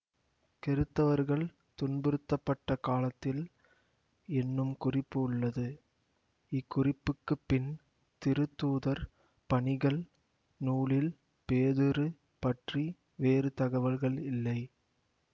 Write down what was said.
கிறித்தவர்கள் துன்புறுத்தப்பட்ட காலத்தில் என்னும் குறிப்பு உள்ளது இக்குறிப்புக்குப் பின் திருத்தூதர் பணிகள் நூலில் பேதுரு பற்றி வேறு தகவல்கள் இல்லை